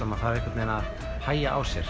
maður þarf einhvern veginn að hægja á sér